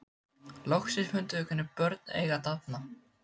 Loksins fundum við hvernig börn eiga að dafna.